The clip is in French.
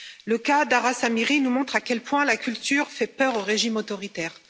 Le cas d'Aras Amiri nous montre à quel point la culture fait peur aux régimes autoritaires.